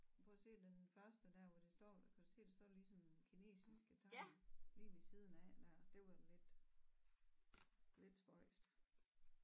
Prøv at se den første dér hvor det står kan du se det står ligesom kinesiske tegn lige ved siden af nær det var lidt lidt spøjst